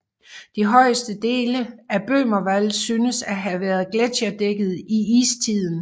De højeste dele af Böhmerwald synes at have været gletscherdækket i istiden